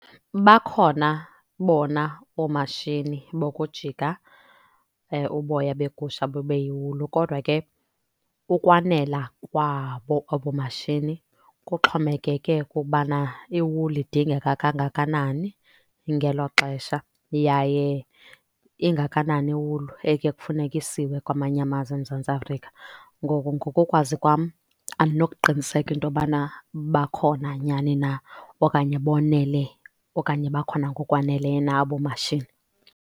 Bakhona bona oomashini bokujika uboya begusha bube yiwulu. Kodwa ke ukwanela kwabo abo mashini kuxhomekeke kukubana iwuli idingeka kangakanani ngelo xesha yaye ingakanani iwulu ekuye kufuneke isiwe kwamanye amazwe eMzantsi Afrika. Ngoko ngokokwazi andinokuqiniseka into yobana bakhona nyhani na okanye bonele, okanye bakhona ngokwaneleyo na abo mashini.